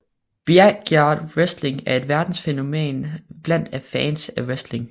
Backyard Wrestling er et verdensfænomen blandt fans af wrestling